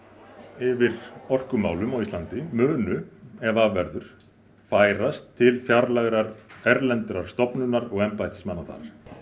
yfir orkumálum á Íslandi munu ef af verður færast til erlendrar stofnunar og embættismanna þar